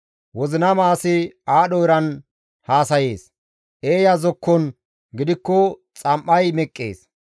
Wozinama asay aadho eran haasayees; eeya zokkon gidikko xam7ay meqqees.